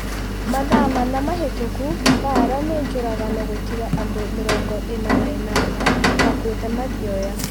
Mathaa mana mahĩtũku Mbaara nĩ njũragano gũtiga andũ mĩrongo ina na inana makuĩte Mathioya